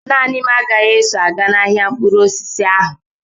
Naanị m agaghị eso aga n'ahia mkpụrụ osisi ahụ.